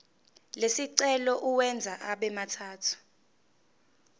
lesicelo uwenze abemathathu